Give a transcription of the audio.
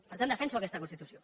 per tant defenso aquesta constitució